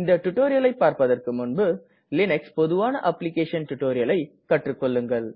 இந்த டுடோரியலை பார்பதற்கு முன்பு லீனக்ஸில் பொதுவான அப்ளிகேஷன் டுடோரியலை கற்றுக்கெள்ளுங்கள்